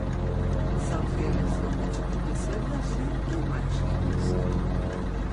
Zavzele so več kot deset vasi in manjših mest.